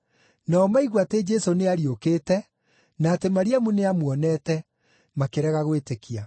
Nao maigua atĩ Jesũ nĩariũkĩte, na atĩ Mariamu nĩamuonete, makĩrega gwĩtĩkia.